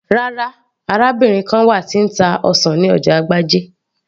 rárá, arábìnrin kan wà tí ń ta ọsàn ní ọjà agbájé